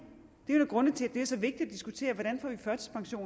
det er en af grundene til at det er så vigtigt at diskutere hvordan